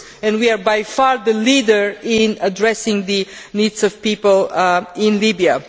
We are by far the leaders in addressing the needs of people in Libya.